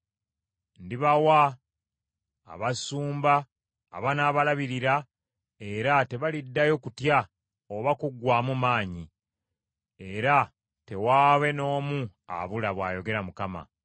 Ndibawa abasumba abanaabalabirira, era tebaliddayo kutya oba kuggwaamu maanyi, era tewaabe n’omu abula,” bw’ayogera Mukama .